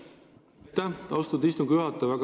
Aitäh, austatud istungi juhataja!